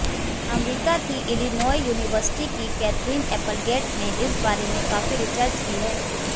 अमरीका की Illinois university की Catherine Applegate ने इस बारे में काफ़ी रिसर्च की है